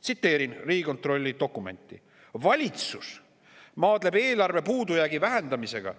Tsiteerin Riigikontrolli dokumenti: "Valitsus maadleb eelarvepuudujäägi vähendamisega,